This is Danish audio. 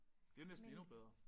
Det næsten endnu bedre